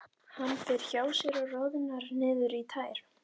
Hann fer hjá sér og roðnar niður í tær.